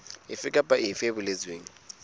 efe kapa efe e boletsweng